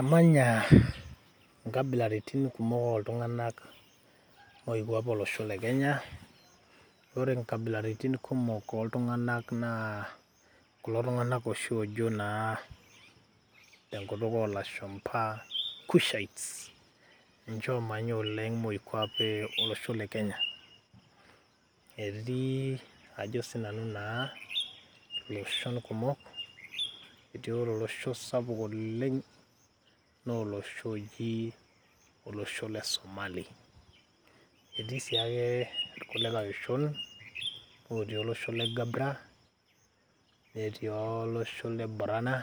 Emanya inkabilaritin kumok oltung'anak moikwape olosho le Kenya, ore inkabilaritin kumok oltung'anak naa, kulo tung'anak oshi ojo naa tenkutuk olashumpa cushites ,ninche omanya oleng' moikwape olosho le Kenya. Etii ajo sinanu naa loshon kumok, eji ore olosho sapuk oleeng',na olosho oji olosho le Somali. Etii siake irkulikae oshon, otii olosho le Gabbra, netii olosho le Borona,